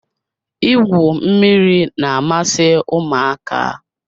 Igwu mmiri na-amasị ụmụaka.